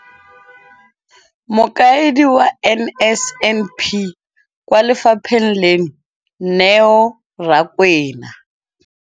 Mokaedi wa NSNP kwa lefapheng leno, Neo Rakwena,